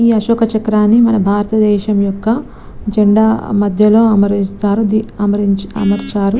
అశోక చక్రాన్ని మన భారత దేశం యొక్క జెండా మధ్యలో అమరిస్తారు .